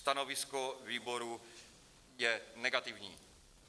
Stanovisko výboru je negativní.